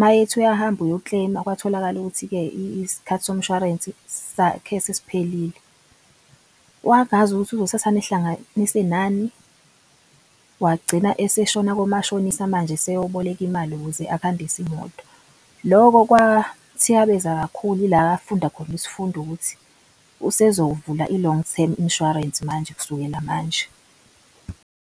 mayethi uyahamba uyo-claim-a kwatholakala ukuthi-ke isikhathi somshwarensi sakhe sesiphelile. Wangazi ukuthi uzothathani ahlanganise nani. Wagcina eseshona komashonisa manje eseyoboleka imali ukuze akhandise imoto. Loko kwathikabeza kakhulu ila afunda khona isifundo ukuthi usezovula i-long-term insurance manje kusukela manje.